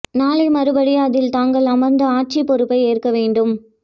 நாளை மறுபடி அதில் தாங்கள் அமர்ந்து ஆட்சி பொறுப்பை ஏற்க வேண்டும்